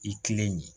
I tilen